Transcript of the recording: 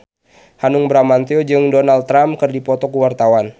Hanung Bramantyo jeung Donald Trump keur dipoto ku wartawan